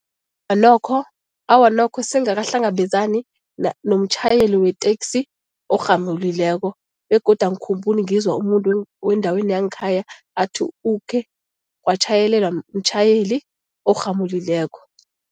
nokho, awa nokho sisengakahlangabezani nomtjhayeli weteksi orhamulileko begodu angikhumbuli ngizwa umuntu wendaweni yangekhaya athi ukhe watjhayelelwa mtjhayeli orhamulileko.